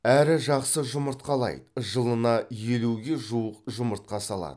әрі жақсы жұмыртқалайды жылына елуге жуық жұмыртқа салады